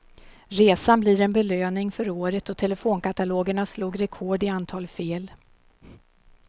Resan blir en belöning för året då telefonkatalogerna slog rekord i antal fel.